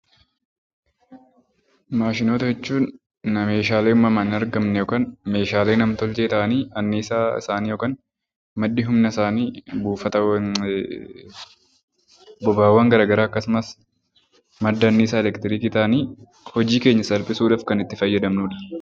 Maashinoota jechuun meeshaalee uumamaan hin argamne yookaan meeshaale nam-tolchee ta'anii anniisaa isaanii yookaan maddi humna isaanii buufata, boba'aawwan akkasumas madda anniisaa elektirikii ta'anii hojii keenya salphisuudhaaf kan itti fayyadamnudha.